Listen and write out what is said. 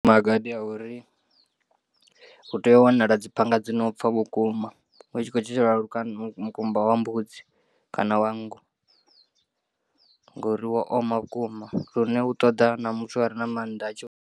Maga ndi a uri hu tea u wanala dzi phanga dzino pfa vhukuma utshikho tshetshelela mukumba wa mbudzi kana wa nngu ngori wo oma vhukuma lune u ṱoḓa na muthu are na maanḓa a tshi.